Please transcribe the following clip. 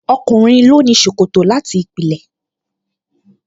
Ọkùnrin ló ní ṣòkòtò láti ìpìlẹ̀